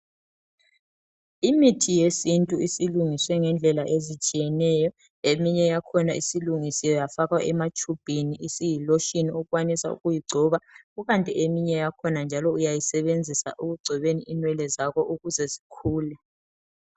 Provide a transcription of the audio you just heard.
Imithi yesintu isilungiswe ngendlela ezitshiyeneyo . Eminye yakhona isilungisiwe yafakwa ematshubhini, isiyi lotion okwanisa ukuyigcoba. Kukanti eminye yakhona njalo uyayisebenzisa ekugcobeni inwele zakho ukuze zikhule.